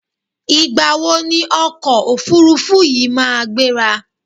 Ìgbà wo ni ọkọ̀ òfurufú yi máa gbéra?